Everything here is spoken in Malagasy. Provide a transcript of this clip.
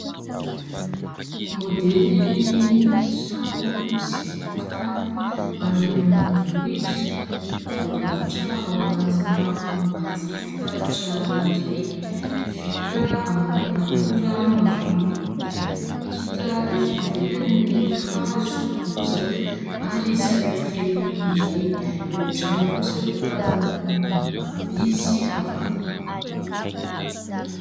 Modelin-trano sy tokotany any ambanivohitra, voarafitra ao anatina boaty fitaratra iray. Vita amin'ny akora maroloko ; hita avy eto ivelany ny hazo, bozaka, ary sarety kely iray. Ireo trano kosa dia tazana avy amin'ny havia sy havanana.